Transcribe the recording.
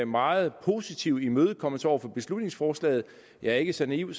meget positive imødekommelse over for beslutningsforslaget jeg er ikke så naiv